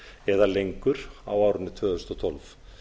eða lengur á árinu tvö þúsund og tólf